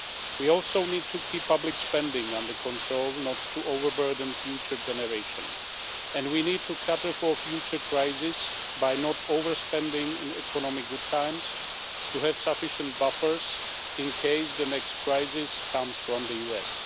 We also need to keep public spending under control so as not to overburden future generations, and we need to cater for future crises by not over spending in economic good times so we have sufficient buffers in case the next crisis comes from the US.